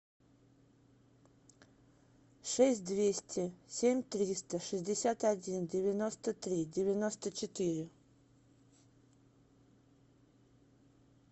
шесть двести семь триста шестьдесят один девяносто три девяносто четыре